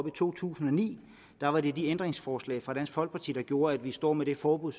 i to tusind og ni var det de ændringsforslag fra dansk folkeparti der gjorde at vi står med det forbud